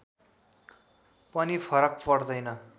पनि फरक पर्दैन